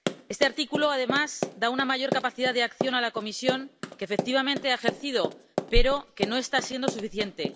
Este artículo, además, da una mayor capacidad de acción a la Comisión, que efectivamente ha ejercido, pero que no está siendo suficiente.